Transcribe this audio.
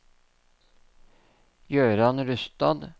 Gøran Rustad